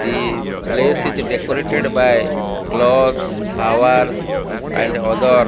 the place is decorated by clothes flowers and other --